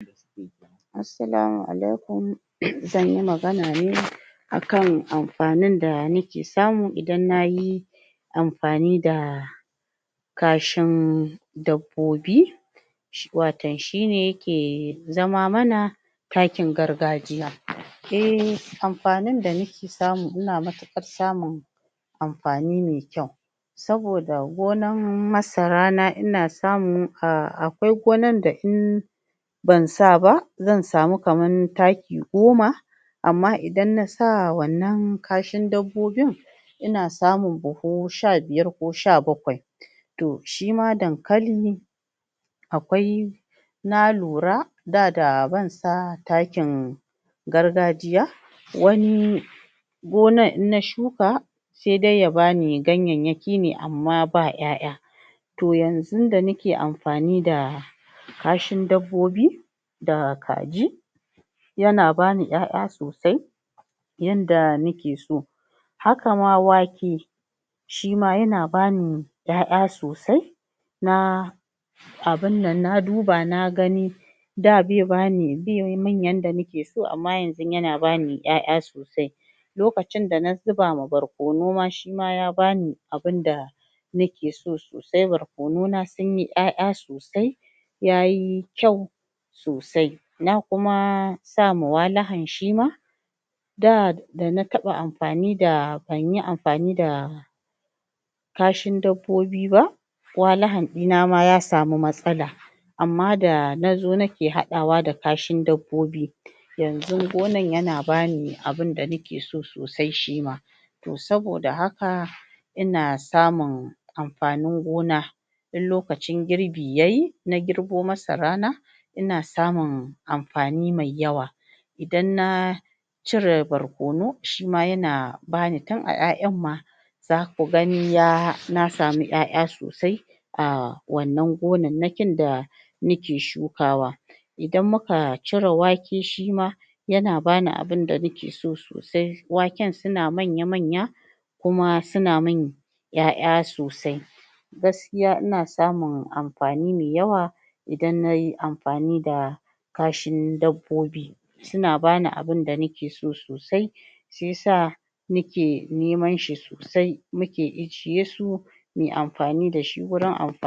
Assalamu alaikum zanyi magana ne akan akan amfanin da muke samu idan nayi amfani da kashin dabbobi waton shine yake zama mana takin gargajiya a amfanin da muke samu ina matuƙar samun amfani me kyau sabida gonan masara na ina samu, akwai gonar da in bansa ba zan samu kaman taki goma amma idan na sa wannan kashin dabbobin ina samun buhu sha biyar ko sha bakwai to shima dankali akwai na lura da daban sa takin gargajiya wani gonar in na shuka se dai ya bani yanyayyaki ne amma ba ƴaƴa to yanzun da nake amfani da kashi dabbobi da kaji yana bani ƴaƴa sosai yanda muke so haka ma wake shima yana bani ƴaƴa sosai na abin nan na duba na gani da be bani be min yanda nake so, amma yanzu yana bani ƴaƴa sosai lokacin da na zuba ma barkono ma shima ya bani abinda nake so sosai barkono na suma sunyi ƴaƴa sosai yayi kyau sosai na kuma sama shima sosai na kuma sama walahan shima da dana taɓa amfani da.. banyi amfani da kashi dabbobi ba walahan ɗina ma ya samu matsala amman da nazo nake haɗawa da kashin dabbobi yanzun gonar yana bani abunda nake so sosai shima to saboda haka ina samun amfanin gona in lokacin giri yayi, na girbo masara na ina samun amfani me yawa idan na in na cire barkono shima yana bani tin a ƴaƴan ma zaku gani ya.. na samu ƴaƴa sosai a wannan gonan na kin da muke shuka wa idan muka cire wake shima yana bani abunda nake so sosai, waken suna manya manya kuma suna min ƴaƴa sosai gaskiya ina samun amfani me yawa idan nayi amfani da kashin dabbobi suna bani abunda nake so sosai shiya sa muke neman shi sosai muke ijiye su muyi amfani dashi gurin amfani